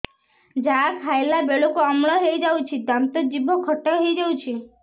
ଯାହା ଖାଇଲା ବେଳକୁ ଅମ୍ଳ ହେଇଯାଉଛି ଦାନ୍ତ ଜିଭ ଖଟା ହେଇଯାଉଛି